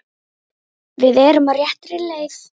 Við erum á réttri leið